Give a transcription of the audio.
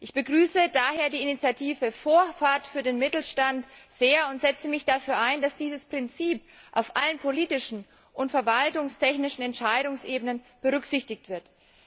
Ich begrüße daher die Initiative Vorfahrt für den Mittelstand sehr und setze mich dafür ein, dass dieses Prinzip auf allen politischen und verwaltungstechnischen Entscheidungsebenen berücksichtigt wird.